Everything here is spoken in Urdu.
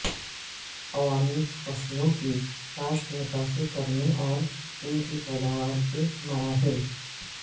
عوامل فصلوں کی کاشت متاثر کرنے اور ان کی پیداوار کے مراحل